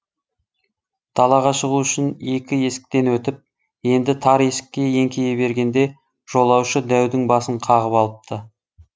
далаға шығу үшін екі есіктен өтіп енді тар есікке еңкейе бергенде жолаушы дәудің басын қағып алыпты